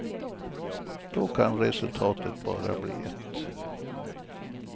Då kan resultatet bara bli ett.